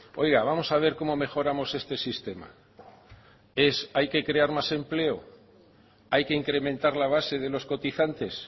oiga vamos a ver cómo mejoramos este sistema hay que crear más empleo hay que incrementar la base de los cotizantes